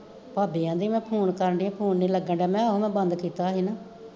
ਭਾਬੀ ਆਂਦੀ ਮੈਂ ਫੋਨ ਕਰਨਡੀ ਆਂ ਫੋਨ ਨੀ ਲੱਗਣਡਿਆ, ਮਹਾ ਆਹੋ ਮੈਂ ਬੰਦ ਕੀਤਾ ਹੋਇਆ ਸੀ ਨਾ